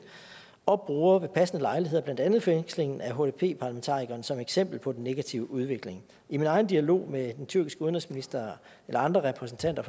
og bruger ved passende lejligheder blandt andet fængslingen af hdp parlamentarikeren som eksempel på den negative udvikling i min egen dialog med den tyrkiske udenrigsminister eller andre repræsentanter